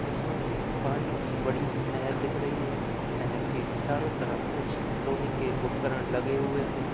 इसमें एक पानी की बड़ी नहर दिख रही है नहर के चारों तरफ कुछ लोहे के उपकरण लगे हुए हैं।